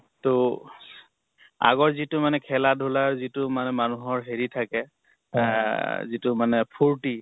ত আগৰ যিটো মানে খেলা ধুলাৰ যিটো মানে মানুহৰ হেৰি থাকে এহ যিটো মানে ফুৰ্তি